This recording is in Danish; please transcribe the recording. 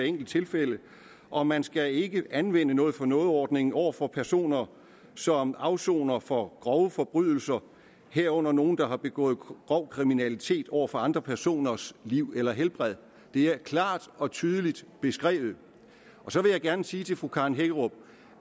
enkelt tilfælde og man skal ikke anvende noget for noget ordningen over for personer som afsoner for grove forbrydelser herunder nogle der har begået grov kriminalitet over for andre personers liv eller helbred det er klart og tydeligt beskrevet så vil jeg gerne sige til fru karen hækkerup